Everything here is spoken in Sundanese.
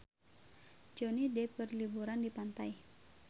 Johnny Depp keur liburan di pantai